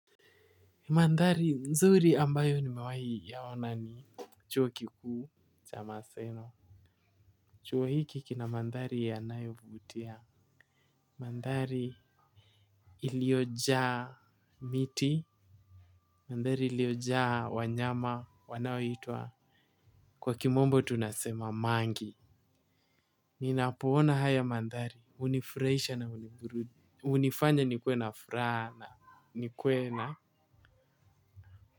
Mandhari nzuri ambayo nimewahi yaona ni chuo kikuu cha maseno. Chuo hiki kina mandhari ya nayo vutia. Mandhari iliojaa miti. Mandhari iliojaa wanyama wanao hitwa. Kwa kimombo tunasema mangi. Ninapoona haya mandhari unifurahisha na hunifanya nikuwe na furana ni kuwe na.